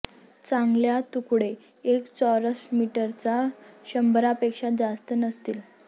चांगल्या तुकडे एक चौरस मीटरचा शंभरापेक्षा जास्त नसतील